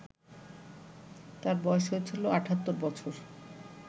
তাঁর বয়স হয়েছিল ৭৮ বছর